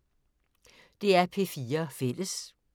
DR P4 Fælles